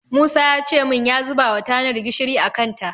Musa yace min ya zubawa tanar gishiri a kanta.